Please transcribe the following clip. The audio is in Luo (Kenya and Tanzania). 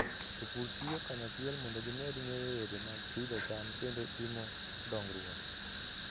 Jopur tiyo kanyachiel mondo gimed ng'eyo yore mag pidho cham kendo timo dongruok.